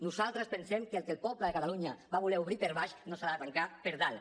nosaltres pensem que el que el poble de catalunya va voler obrir per baix no s’ha de tancar per dalt